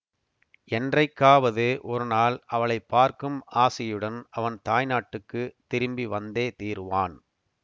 என்றைக்காவது ஒருநாள் அவளை பார்க்கும் ஆசையுடன் அவன் தாய்நாட்டுக்குத் திரும்பி வந்தே தீருவான்